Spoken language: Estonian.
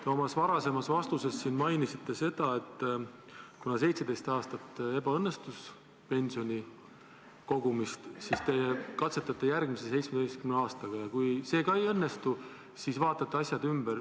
Te oma varasemas vastuses mainisite, et kuna 17 aasta jooksul on pensioni kogumine ebaõnnestunud, siis te katsetate järgmise 17 aastaga ja kui siis ka ei õnnestu, siis vaatate asjad ümber.